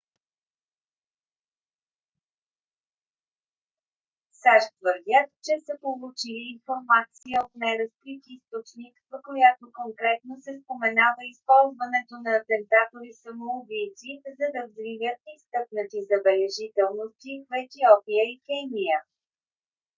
сащ твърдят че са получили информация от неразкрит източник в която конкретно се споменава използването на атентатори самоубийци за да взривят изтъкнати забележителности в етиопия и кения